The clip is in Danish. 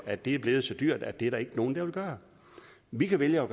at det er blevet så dyrt at det er der ikke nogen der vil gøre vi kan vælge at